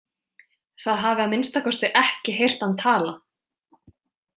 Það hafi að minnsta kosti ekki heyrt hann tala.